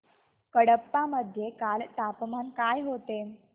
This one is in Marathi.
कडप्पा मध्ये काल तापमान काय होते